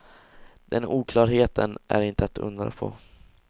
Den oklarheten är inte att undra på.